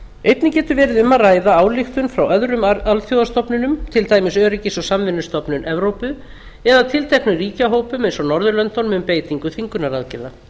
einnig getur verið um að ræða ályktun frá öðrum alþjóðastofnunum til dæmis öryggis og samvinnustofnun evrópu eða tilteknum ríkjahópum eins og norðurlöndunum um beitingu þvingunaraðgerða